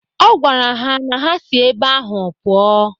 Ọ gwara ha na ha si ebe ahụ pụọ